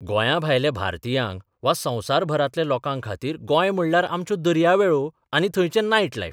गोंयांभायल्या भारतियांक वा संबसराभरांतल्या लोकांखातीर गोंय म्हणल्यार आमच्यो दर्यावेळो आनी थंयचें नायट लायफ.